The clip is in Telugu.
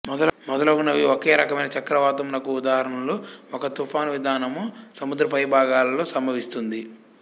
మొదలగునవి ఒకే రకమైన చక్రవాతము నకు ఉదాహరణలు ఒక తుఫాను విధానము సముద్రపైభాగాలలో సంభవిస్తుంది